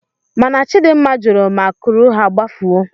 Mana Chidimma jụrụ ma kuru ha gbafuo.